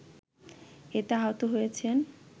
এতে আহত হয়েছেন